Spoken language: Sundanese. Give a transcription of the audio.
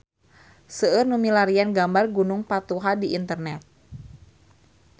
Seueur nu milarian gambar Gunung Patuha di internet